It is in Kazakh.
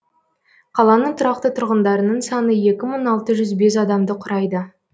қаланың тұрақты тұрғындарының саны екі мың алты жүз бес адамды құрайды